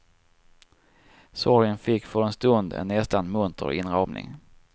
Sorgen fick för en stund en nästan munter inramning.